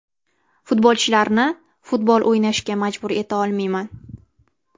Futbolchilarni futbol o‘ynashga majbur etolmayman.